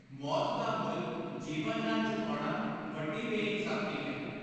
ਮੌਤ ਦਾ ਮੁੱਲ ਜੀਵਨ ਨਾਲ ਚੁਕਾਉਣਾ ਵੱਡੀ ਬੇ ਇਨਸਾਫੀ ਹੈ।